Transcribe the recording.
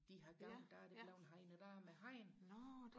de i gamle dage er blevet hegnet med hegn